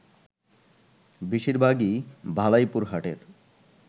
বেশিরভাগই ভালাইপুর হাটের